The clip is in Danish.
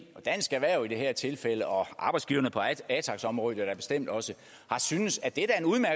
og dansk erhverv i det her tilfælde og arbejdsgiverne på atax området da bestemt også har syntes at det